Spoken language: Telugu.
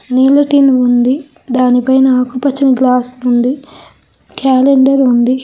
నీళ్ల టిన్ ఉంది దానిపైన ఆకుపచ్చని గ్లాస్ ఉంది క్యాలెండర్ ఉంది.